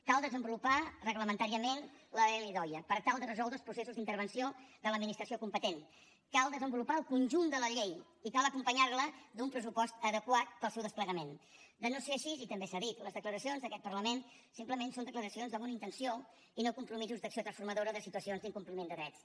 cal desenvolupar reglamentàriament l’ldoia per tal de resoldre els processos d’intervenció de l’administració competent cal desenvolupar el conjunt de la llei i cal acompanyar la d’un pressupost adequat per al seu desplegament si no és així i també s’ha dit les declaracions d’aquest parlament simplement són declaracions de bona intenció i no compromisos d’acció transformadora de situacions d’incompliment de drets